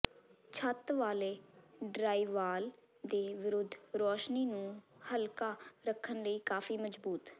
ਛੱਤ ਵਾਲੇ ਡਰਾਇਵਾਲ ਦੇ ਵਿਰੁੱਧ ਰੋਸ਼ਨੀ ਨੂੰ ਹਲਕਾ ਰੱਖਣ ਲਈ ਕਾਫ਼ੀ ਮਜ਼ਬੂਤ